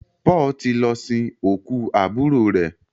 Paul tí lọ sin okú aburo rẹ.